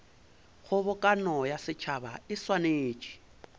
kgobokano ya setšhaba e swanetše